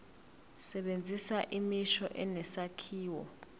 sebenzisa imisho enesakhiwo